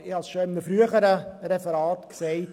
Ich habe es bereits in einem früheren Referat gesagt: